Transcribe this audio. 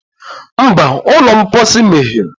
Mba, ụlọ mposi meghere